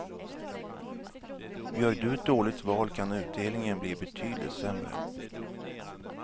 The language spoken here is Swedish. Gör du ett dåligt val kan utdelningen bli betydligt sämre.